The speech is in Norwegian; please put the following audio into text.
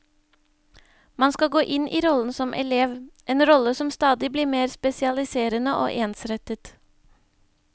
Man skal gå inn i rollen som elev, en rolle som stadig blir mer spesialiserende og ensrettet.